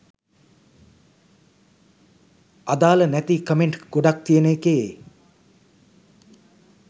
අදාල නැති කමෙන්ට් ගොඩක් තියෙන එකේ